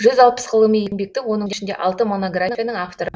жүз алпыс ғылыми еңбектің оның ішінде алты монографияның авторы